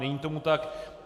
Není tomu tak.